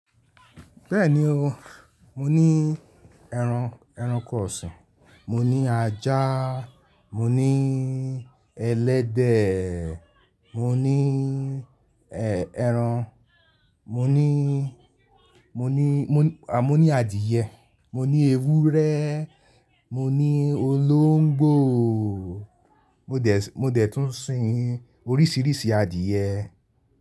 Bẹ́ẹ̀ni o, mo ní ẹran, ẹranko ọ̀sìn, mo ní ajá, mo ní ẹlẹ́dẹ̀, mo ní ẹ-ẹran, mo ní, mo ní, à mo ní adìyẹ, mo ní ewúrẹ́, mo ní olóńgbò, mo dẹ̀, mo dẹ̀ tún sin oríṣìíríṣìí adìyẹ.